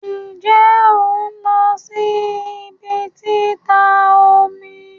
Nje on lo si ibi tita omi?